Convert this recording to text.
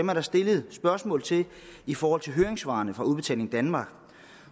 der stillet spørgsmål til i forhold til høringssvarene fra udbetaling danmark